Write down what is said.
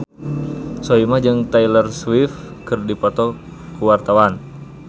Soimah jeung Taylor Swift keur dipoto ku wartawan